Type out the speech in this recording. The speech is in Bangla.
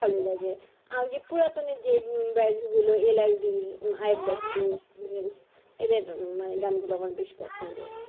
ভালো লাগে আগে পুরাতন এর যে band গুলো LRB এদের মানে গান গুলা আমার বেশ পছন্দ